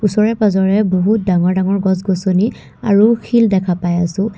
ওচৰে পাজৰে বহু ডাঙৰ ডাঙৰ গছ গছনি আৰু শিল দেখা পাই আছোঁ।